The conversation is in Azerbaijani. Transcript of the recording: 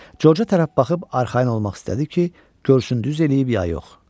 Corca tərəf baxıb arxayın olmaq istədi ki, görsün düz eləyib ya yox.